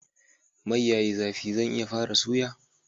Mai yayi zafi zan iya fara suya?